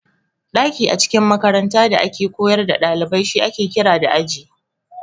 Daki a cikin makaranta da ake koyar da dalibai shi ake kira da Aji.